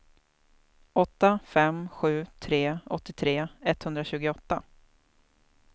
åtta fem sju tre åttiotre etthundratjugoåtta